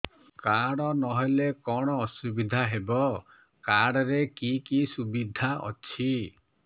card ନହେଲେ କଣ ଅସୁବିଧା ହେବ କାର୍ଡ ରେ କି କି ସୁବିଧା ଅଛି